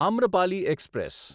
Amrapali express